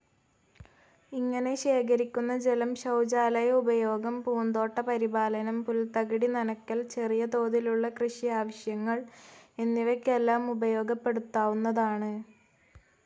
ഇങ്ങനെ ശേഖരിക്കുന്ന ജലം ശൗചാലയ ഉപയോഗം, പൂന്തോട്ട പരിപാലനം, പുൽത്തകിടി നനക്കൽ, ചെറിയ തോതിലുള്ള കൃഷിയാവശ്യങ്ങൾ എന്നിവയ്ക്കെല്ലാം ഉപയോഗപ്പെടുത്താവുന്നതാണ്.